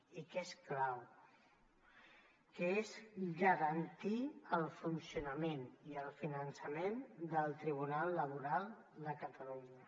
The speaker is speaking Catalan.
i que és garantir el funcionament i el finançament del tribunal laboral de catalunya